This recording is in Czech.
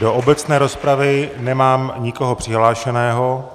Do obecné rozpravy nemám nikoho přihlášeného.